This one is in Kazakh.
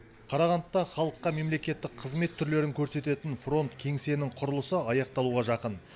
қарағандыда халыққа мемлекеттік қызмет түрлерін көрсететін фронт кеңсенің құрылысы аяқталуға жақын